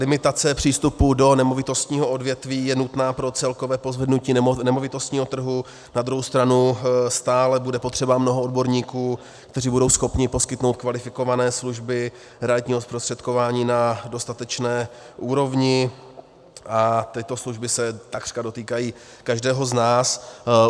Limitace přístupů do nemovitostního odvětví je nutná pro celkové pozvednutí nemovitostního trhu, na druhou stranu stále bude potřeba mnoho odborníků, kteří budou schopni poskytnout kvalifikované služby realitního zprostředkování na dostatečné úrovni, a tyto služby se takřka dotýkají každého z nás.